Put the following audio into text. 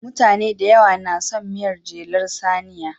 Mutane da yawa na son miyar jelar saniya.